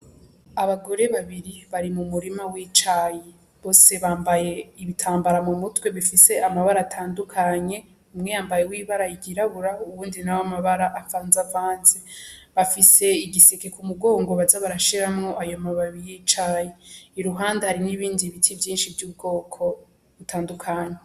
Abagore babiri bari mu murima w'icayi bose bambaye ibitambara mu mutwe bifise amabara atandukanye umwe yambaye w'ibara yiryirabura uwundi nawo amabara avanze avanze bafise igiseke k’umugongo baza barashiramwo ayo mababi y'icayi i ruhande hari n'ibindi biti vyinshi vy'ubwoko butandukanye.